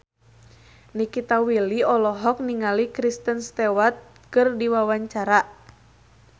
Nikita Willy olohok ningali Kristen Stewart keur diwawancara